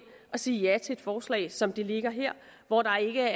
og sige ja til et forslag som det der ligger her hvor der ikke